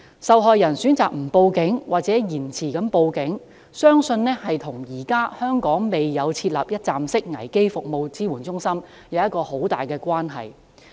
受害人選擇不向警方報案或延遲向警方報案，相信與香港現時未有設立一站式危機服務支援中心有很大關係。